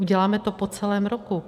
Uděláme to po celém roku.